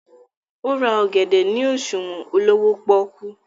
o rà ògèdè ní òṣuwọn olówó poku.